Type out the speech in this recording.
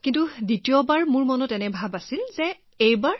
কিন্তু দ্বিতীয়বাৰ মনত আছিল যে এতিয়া কিবা এটা হলেও নিৰাশ কৰিবৱগীয়া নাই